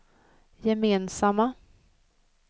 gemensamma